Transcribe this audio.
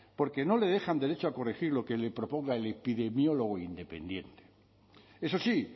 porque no le dejan derecho a corregir lo que le proponga el epidemiólogo independiente eso sí